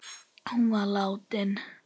Hún var látin.